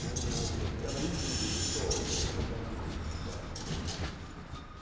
como os alunos do Sol.